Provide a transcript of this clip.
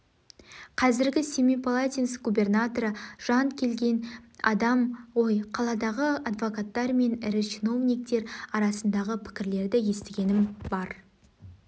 қазіргі семипалатинск губернаторы жанд келген адам ғой қаладағы адвокаттар мен ірі чиновниктер арасындағы пікірлерді естігенім бар